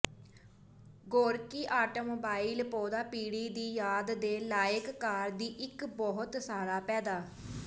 Gorky automobile ਪੌਦਾ ਪੀੜ੍ਹੀ ਦੀ ਯਾਦ ਦੇ ਲਾਇਕ ਕਾਰ ਦੀ ਇੱਕ ਬਹੁਤ ਸਾਰਾ ਪੈਦਾ